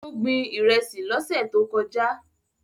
Ó gbin Ìrẹ́sì lọ́sẹ̀ tó kọjá